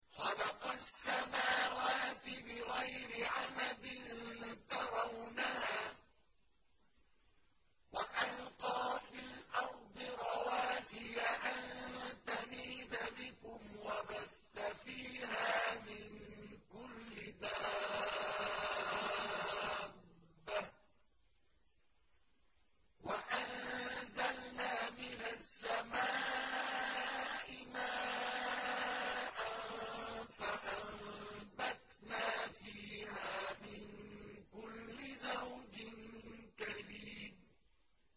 خَلَقَ السَّمَاوَاتِ بِغَيْرِ عَمَدٍ تَرَوْنَهَا ۖ وَأَلْقَىٰ فِي الْأَرْضِ رَوَاسِيَ أَن تَمِيدَ بِكُمْ وَبَثَّ فِيهَا مِن كُلِّ دَابَّةٍ ۚ وَأَنزَلْنَا مِنَ السَّمَاءِ مَاءً فَأَنبَتْنَا فِيهَا مِن كُلِّ زَوْجٍ كَرِيمٍ